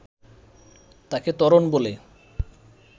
তাকে ত্বরণ বলে